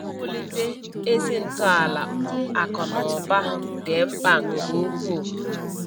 Iwulite ezi ntọala akụ na ụba dị mkpa nke ukwuu